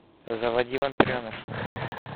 заводи вампиреныш